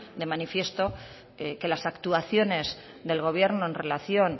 de manifiesto que las actuaciones del gobierno en relación